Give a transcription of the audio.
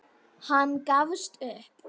Hann gafst upp.